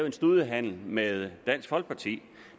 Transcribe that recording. en studehandel med dansk folkeparti